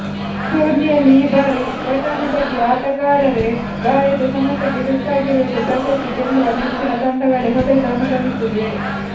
ಟೂರ್ನಿಯಲ್ಲಿ ಈ ಬಾರಿ ಘಾಟನುಘಟಿ ಆಟಗಾರರೇ ಗಾಯದ ಸಮಸ್ಯೆಗೆ ತುತ್ತಾಗಿರುವುದು ಪ್ರಶಸ್ತಿ ಗೆಲ್ಲುವ ನೆಚ್ಚಿನ ತಂಡಗಳೇ ಹೊಡೆತ ಅನುಭವಿಸಿವೆ